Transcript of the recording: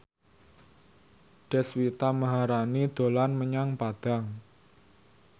Deswita Maharani dolan menyang Padang